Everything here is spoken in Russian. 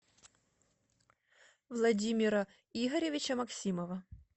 владимира игоревича максимова